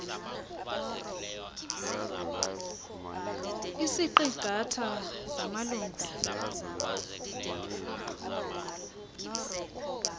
isiqi ngatha samalungu